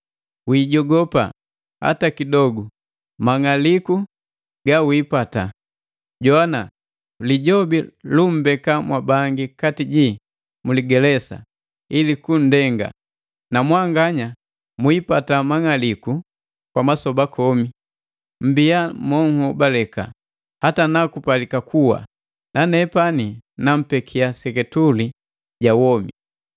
Wiijogopa hata kidogu mang'aliku ga wiipata. Jowana! Lijobi lu mmbeka mwabangi kati jii mu ligelesa ili kunndenga, na mwanganya mwiipata mang'aliku kwa masoba komi. Mmbia mo nhobaleka hata na kupalika kuwa, na nepani nampekia seketuli ja womi.”